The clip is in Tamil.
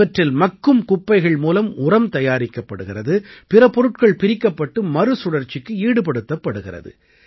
இவற்றில் மக்கும் குப்பைகள் மூலம் உரம் தயாரிக்கப்படுகிறது பிற பொருட்கள் பிரிக்கப்பட்டு மறுசுழற்சிக்கு ஈடுபடுத்தப்படுகிறது